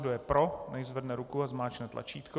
Kdo je pro, nechť zvedne ruku a zmáčkne tlačítko.